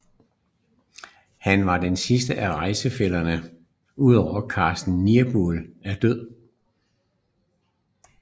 Han var den sidste af rejsefællerne udover Carsten Niebuhr der dør